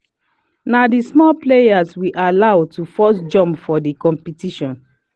na the small players we allow to firrst jump for the competition